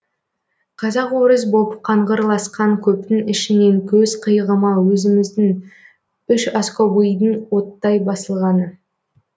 қазақ орыс боп қаңғырласқан көптің ішінен көз қиығыма өзіміздің үшаскобыйдың оттай басылғаны